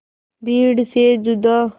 भीड़ से जुदा